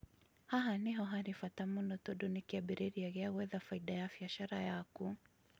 haha nĩho hari bata mũno tundũ nĩ kĩambĩruria gia gwetha bainda ya biachara yaku